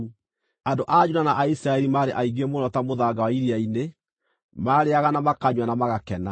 Andũ a Juda na a Isiraeli maarĩ aingĩ mũno ta mũthanga wa iria-inĩ. Maarĩĩaga, na makanyua, na magakena.